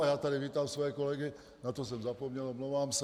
A já tady vítám své kolegy , na to jsem zapomněl, omlouvám se.